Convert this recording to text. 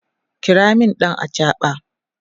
kira min ɗan achaɓa!